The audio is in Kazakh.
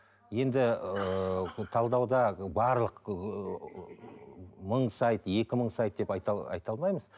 енді ыыы талдауда барлық ыыы мың сайт екі мың сайт деп айта алмаймыз